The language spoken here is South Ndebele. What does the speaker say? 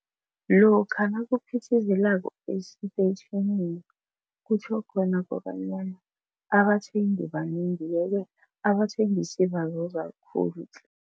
Lokha nakuphithizelako esitetjhini kutjho khona kobanyana abathengi banengi yeke abathengisi bazuza likhulu tle.